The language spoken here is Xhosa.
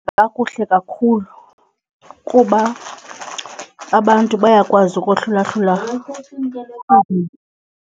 Kakuhle kakhulu kuba abantu bayakwazi ukohlula hlula .